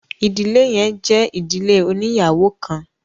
ìdílé yẹn jẹ ìdílé oniyawo kán